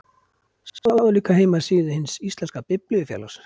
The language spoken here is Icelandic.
Sjá líka heimasíðu Hins íslenska biblíufélags.